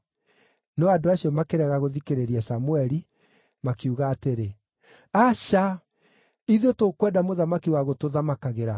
No andũ acio makĩrega gũthikĩrĩria Samũeli makiuga atĩrĩ, “Aca! Ithuĩ tũkwenda mũthamaki wa gũtũthamakagĩra.